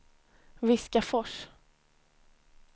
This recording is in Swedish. Viskafors